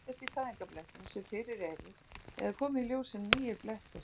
Þau geta myndast í fæðingarblettum sem fyrir eru eða komið í ljós sem nýir blettir.